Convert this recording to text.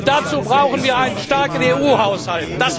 Und dazu brauchen wir einen starken EU Haushalt.